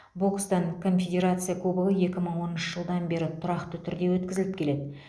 бокстан конфедерация кубогы екі мың оныншы жылдан бері тұрақты түрде өткізіліп келеді